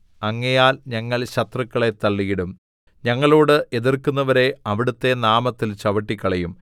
അങ്ങയാൽ ഞങ്ങൾ ശത്രുക്കളെ തള്ളിയിടും ഞങ്ങളോട് എതിർക്കുന്നവരെ അവിടുത്തെ നാമത്തിൽ ചവിട്ടിക്കളയും